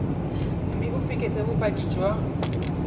mme o fekese bopaki jwa